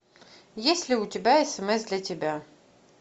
есть ли у тебя смс для тебя